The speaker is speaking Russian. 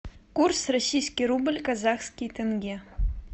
курс российский рубль казахский тенге